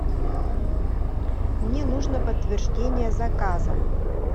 мне нужно подтверждение заказа